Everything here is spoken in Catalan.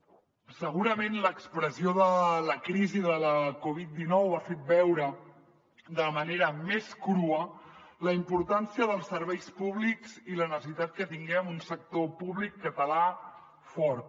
segurament l’expressió de la crisi de la covid dinou ha fet veure de la manera més crua la importància dels serveis públics i la necessitat que tinguem un sector públic català fort